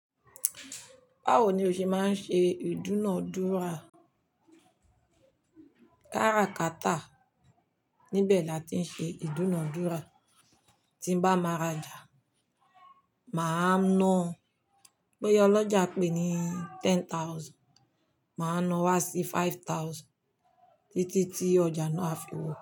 Báwo ni o ṣe máa ń ṣe ìdúnadúrà? Kára kátà, níbẹ̀ la ti ń ṣe ìdúnadúrà. Tí n bá máa ra ọjà, mà á ná. Boya olọ́jà pè ní ten thousand, mà á ná wá sí five thousand títí tí ọjà náà á fi wọ.